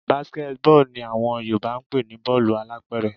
Basket ball ni àwọn Yorùbá ń pè ní bọ́ọ̀lù alápẹ̀rẹ̀